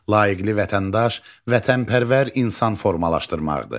layiqli vətəndaş, vətənpərvər insan formalaşdırmaqdır.